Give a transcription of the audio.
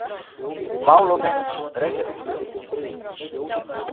Mál og mynd, Reykjavík.